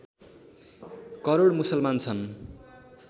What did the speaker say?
करोड मुसलमान छन्